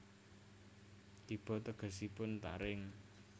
Kiba tegesipun taring